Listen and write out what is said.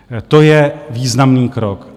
To je významný krok.